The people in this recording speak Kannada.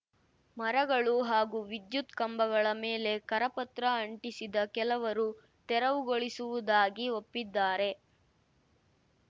ಮರಗಳು ಹಾಗೂ ವಿದ್ಯುತ್ ಕಂಬಗಳ ಮೇಲೆ ಕರಪತ್ರ ಅಂಟಿಸಿದ ಕೆಲವರು ತೆರವುಗೊಳಿಸುವುದಾಗಿ ಒಪ್ಪಿದ್ದಾರೆ